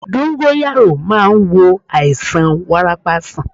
Dóngóyárò máa ń wo àìsàn wárápá sàn